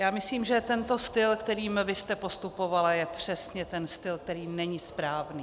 Já myslím, že tento styl, kterým vy jste postupovala, je přesně ten styl, který není správný.